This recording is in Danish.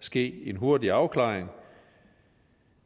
ske en hurtig afklaring